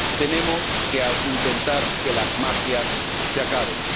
Tenemos que intentar que las mafias se acaben.